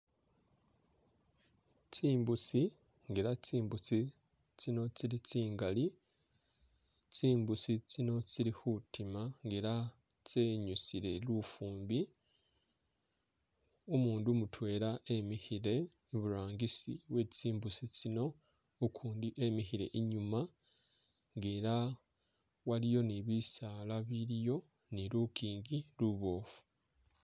Tsimbusi nga ela tsimbusi tsino tsili tsingali, tsimbusi tsino tsili khutima nga ela tsenyusile lufumbi, umundu mutwela emikhile i'burangisi we'tsimbusi tsino ukundi emikhile i'nyuma nga ela waliyo ni bisaala biliyo ni lukingi luboofu